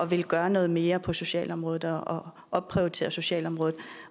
ville gøre noget mere på socialområdet og opprioritere socialområdet